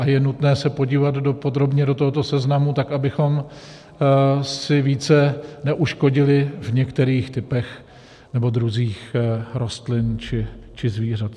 A je nutné se podívat podrobně do tohoto seznamu tak, abychom si více neuškodili v některých typech nebo druzích rostlin či zvířat.